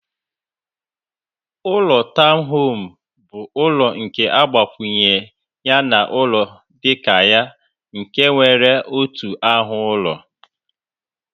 Ụlọ tọwn home bu ụlọ nke agbakwunye na ụlọ dika ya nke nwere otu ahu ụlọ.